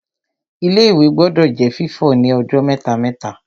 Ilé-ìwẹ̀ gbọdọ̀ jẹ́ fífọ̀ ní ọjọ́ mẹ́ta-mẹ́ta